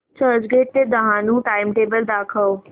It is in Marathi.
चर्चगेट ते डहाणू चे टाइमटेबल दाखव